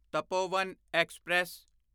Tapovan express